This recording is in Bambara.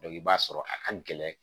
i b'a sɔrɔ a ka gɛlɛn